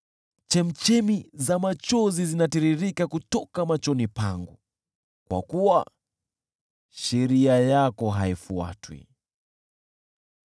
Chemchemi za machozi zinatiririka kutoka machoni yangu, kwa kuwa sheria yako haifuatwi.